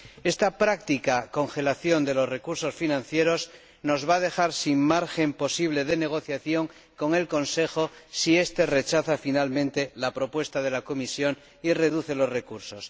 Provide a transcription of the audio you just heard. Esta práctica congelación de los recursos financieros nos va a dejar sin margen posible de negociación con el Consejo si este rechaza finalmente la propuesta de la Comisión y reduce los recursos.